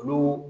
Olu